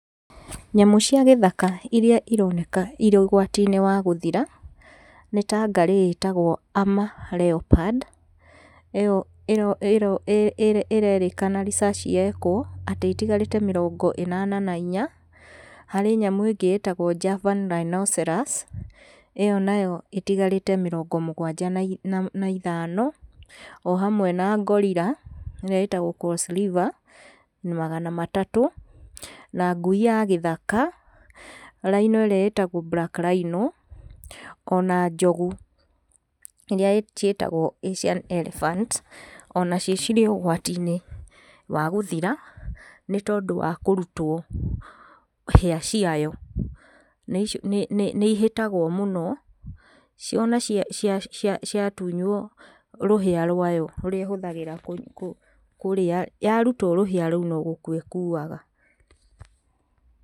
Nyamũ cia gĩthaka iria ironeka irĩ ũgwatinĩ wa gũthira, nĩ ta ngarĩ ĩtagwo Alma leopard ĩyo ĩrerĩkana research yekwo, atĩ itigarĩte mĩrongo ĩnana na inya, harĩ nyamũ ĩngĩ ĩtagwo rhinocerous, ĩyo nayo ĩtigarĩte mĩrongo mũgwanja na ithano, o hamwe na Gorilla ĩrĩa ĩtagwo cosliver, magana matatũ, na ngui ya gĩthaka, Rhino ĩrĩa ĩtagwo black rhino ĩtagwo ona njogu iria ciĩtagwo asian elephant, ona cio ciĩ ũgwatinĩ wa gũthira, nĩtondũ wa kũrutwo hĩa ciayo. Nĩ nĩ nĩ ihĩtagwo mũno, ciona cia, cia ciatunyuo rũhĩa rũaya rũrĩa ĩhũthagĩra kũ kũ kũrĩa, yarutwo rũhĩa rũu no gũkua ĩkuaga.